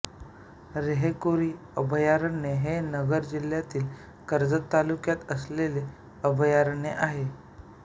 रेहेकुरी अभयारण्य हे नगर जिल्ह्यातील कर्जत तालुक्यात असलेले अभयारण्य आहे